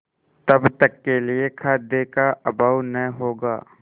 तब तक के लिए खाद्य का अभाव न होगा